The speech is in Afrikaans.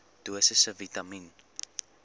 dosisse vitamien